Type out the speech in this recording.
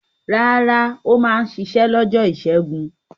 Rárá, ó máa ń ṣiṣẹ́ lọ́jọ́ ìṣẹ́gun.